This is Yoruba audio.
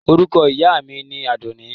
Orúkọ ìyá mi ni Àdùnní.